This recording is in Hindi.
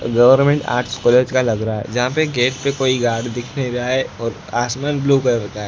गवर्नमेंट आर्ट्स कॉलेज का लग रहा है जहां पर गेट पर कोई गार्ड दिख नहीं रहा है और आसमान ब्लू कलर का--